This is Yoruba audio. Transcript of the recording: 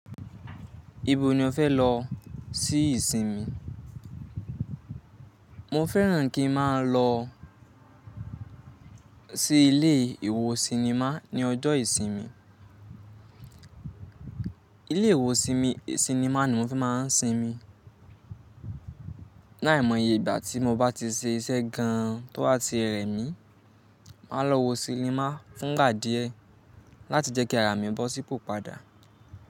Ibo ní ọ fẹ́ lọ sí ìsinmi? Mọ fẹ́ràn kí n máa ń lọ sí ilé ìwò sinimá ní ọjọ́ ìsinmi. Ilé iwọ sinmi, sinimá ní mọ n fẹ má wà sinmi. Láìmọye ìgbà tí mo bá ti ṣe iṣẹ́ gan an tó ha tí rẹmi mi, màá lọ wọ sinimá fún ìgbà díẹ̀ láti jẹ́ kí ará mi bọ́ sípò padà.